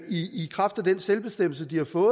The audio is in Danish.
i kraft af den selvbestemmelse de har fået